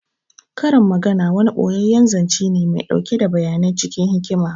Karin magana wani ɓoyeyyen zance ne mai ɗauke da bayanai cikin hikima